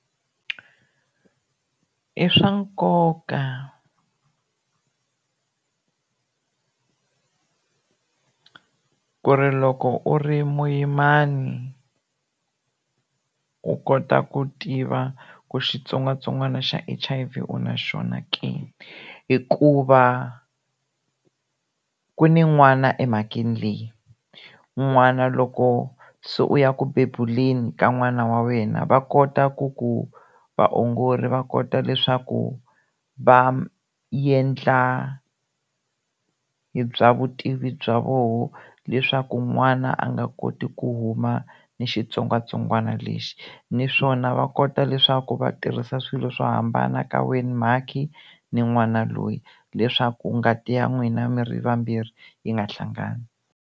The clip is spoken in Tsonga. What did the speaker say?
I swa nkoka ku ri loko u ri muyimani u kota ku tiva ku xitsongwatsongwana xa H_I_V u na xona ke hikuva ku ni n'wana emhakeni leyi n'wana loko se u ya ku bebuleni ka n'wana wa wena va kota ku ku vaongori va kota leswaku va endla hi bya vutivi bya voho leswaku n'wana a nga koti ku huma ni xitsongwatsongwana lexi naswona va kota leswaku va tirhisa swilo swo hambana ka wena mhakhi ni n'wana loyi leswaku ngati ya n'wina mi ri vambirhi yi nga hlangani.